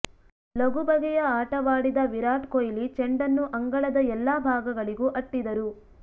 ಲಗು ಬಗೆಯ ಆಟವಾಡಿದ ವಿರಾಟ್ ಕೋಹ್ಲಿ ಚೆಂಡನ್ನು ಅಂಗಳದ ಎಲ್ಲ ಭಾಗಗಳಿಗೂ ಅಟ್ಟಿದರು